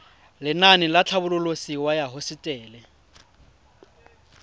lenaane la tlhabololosewa ya hosetele